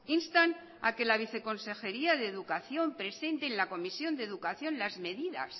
instan a que la viceconsejería de educación presente en la comisión de educación las medidas